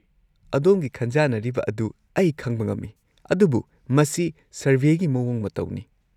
-ꯑꯗꯣꯝꯒꯤ ꯈꯟꯖꯥꯅꯔꯤꯕ ꯑꯗꯨ ꯑꯩ ꯈꯪꯕ ꯉꯝꯃꯤ, ꯑꯗꯨꯕꯨ ꯃꯁꯤ ꯁꯔꯚꯦꯒꯤ ꯃꯑꯣꯡ ꯃꯇꯧꯅꯤ꯫